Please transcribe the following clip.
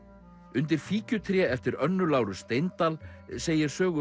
undir fíkjutré eftir Önnu Láru Steindal segir sögu